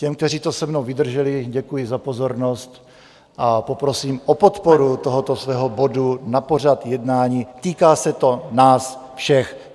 Těm, kteří to se mnou vydrželi, děkuji za pozornost a prosím o podporu tohoto svého bodu na pořad jednání, týká se to nás všech.